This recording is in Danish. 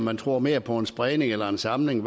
man tror mere på en spredning eller en samling